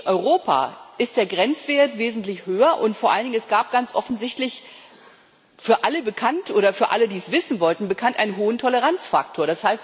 In Europa ist der Grenzwert wesentlich höher, und vor allen Dingen gab es ganz offensichtlich für alle bekannt oder für alle, die es wissen wollten, bekannt einen hohen Toleranzfaktor.